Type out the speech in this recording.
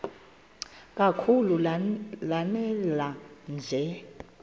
kakhulu lanela nje